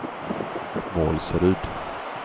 Målsryd